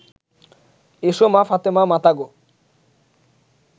এসো মা ফাতেমা মাতা গো